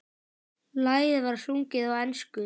Lagið var sungið á ensku.